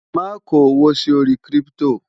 má kò owó sí orí kírìpitò